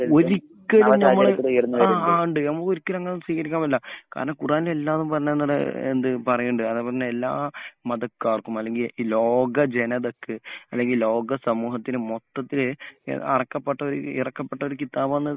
ഒരിക്കലും നമ്മൾ അങ്ങനെ സ്വീകരിക്കാൻ പറ്റില്ല. കാരണം ഖുർആനിൽ എല്ലാതും പറഞ്ഞത് എന്താണ് പറയിണ്ടു അതാ പറഞ്ഞത് എല്ലാ മതക്കാർക്കും ലോക ജനതക്ക് അല്ലെങ്കിൽ ലോക സമൂഹത്തിന് മൊത്തത്തിൽ അറക്കപ്പെട്ട ഇറക്കപ്പെട്ട ഒരു കിതാബാണെന്ന്